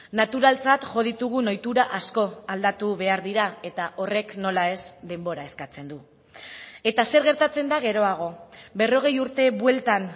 naturaltzat jo ditugun ohitura asko aldatu behar dira eta horrek nola ez denbora eskatzen du eta zer gertatzen da geroago berrogei urte bueltan